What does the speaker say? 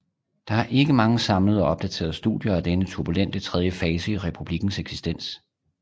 Der er ikke mange samlede og opdaterede studier af denne turbulente tredje fase i republikkens eksistens